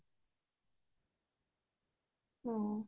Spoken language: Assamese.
অ